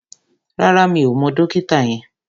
Rárá, mi ò mọ dókítà yẹn